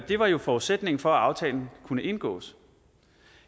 var jo forudsætningen for at aftalen kunne indgås